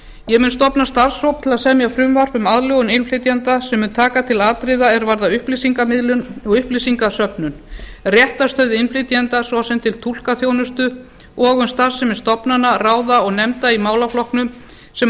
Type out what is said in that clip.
ég mun stofna starfshóp til að semja frumvarp um aðlögun innflytjenda sem mun taka til atriða er varða upplýsingamiðlun og upplýsingasöfnun réttarstöðu innflytjenda svo sem til túlkaþjónustu og um starfsemi stofnana ráða og nefnda í málaflokknum sem